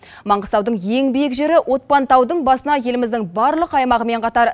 маңғыстаудың ең биік жері отпантаудың басына еліміздің барлық аймағымен қатар